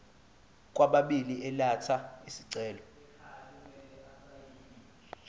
kwababili elatha isicelo